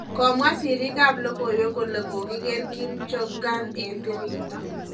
Komwa siriik ab logoiwek kole kokiker Kim Jong-un en tiriyta